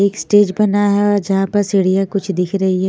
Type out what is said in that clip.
एक स्टेज बना है और जहाँ पर सीढ़ीया कुछ दिख रही है।